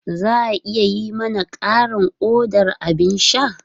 Za a iya yi mana ƙarin odar abin sha?